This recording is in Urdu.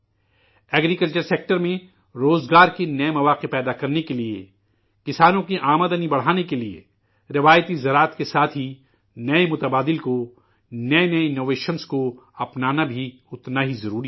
زرعی شعبہ میں روزگار کے نئے مواقع پیدا کرنے کے لیے، کسانوں کی آمدنی بڑھانے کے لیے، روایتی زراعت کے ساتھ ہی، نئے متبادل کو، نئے نئے اختراعات کو، اپنانا بھی، اتنا ہی ضروری ہے